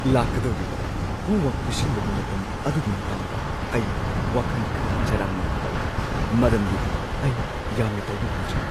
ꯂꯥꯛꯀꯗꯧꯔꯤꯕ ꯍꯣꯝꯋꯔꯛ ꯄꯤꯁꯤꯟꯕꯒꯤ ꯃꯇꯝ ꯑꯗꯨꯒꯤ ꯃꯇꯥꯡꯗ ꯑꯩ ꯋꯥꯈꯟ ꯈꯔ ꯆꯔꯥꯡꯅꯕ ꯐꯥꯎꯋꯤ ꯃꯔꯝꯗꯤ ꯑꯩ ꯌꯥꯝꯅ ꯇꯧꯕ ꯉꯝꯗ꯭ꯔꯤ꯫